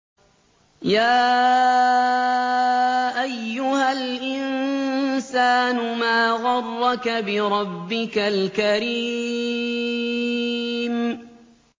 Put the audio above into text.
يَا أَيُّهَا الْإِنسَانُ مَا غَرَّكَ بِرَبِّكَ الْكَرِيمِ